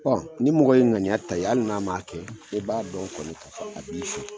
Ɔ ni mɔgɔ ye ŋaniya ta n'i ye ali n'a ma kɛ bɛ b'a dɔn kɔni ka fɔ a b'i fɛ